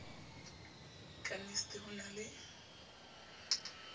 ka nicd ho na le